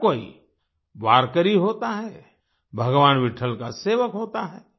हर कोई वारकरी होता है भगवान् विट्ठल का सेवक होता है